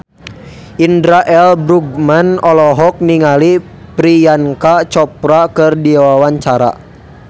Indra L. Bruggman olohok ningali Priyanka Chopra keur diwawancara